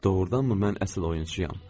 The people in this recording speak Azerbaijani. Doğrudanmı mən əsil oyunçuyam?